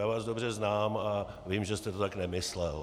Já vás dobře znám a vím, že jste to tak nemyslel.